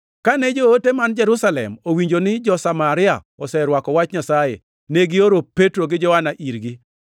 Kane joote man Jerusalem owinjo ni jo-Samaria noserwako wach Nyasaye, negioro Petro gi Johana irgi.